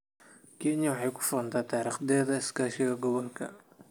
Kenya waxay ku faantaa taariikhdeeda iskaashiga gobolka.